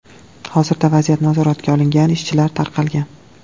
Hozirda vaziyat nazoratga olingan, ishchilar tarqalgan.